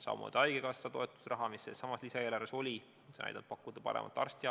Samamoodi haigekassa toetusraha, mis sellessamas lisaeelarves oli, et pakkuda paremat arstiabi.